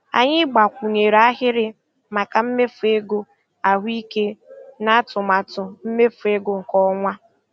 Anyị gbakwunyere ahịrị maka mmefu ego ahụike n'atụmatụ mmefu ego nke ọnwa a.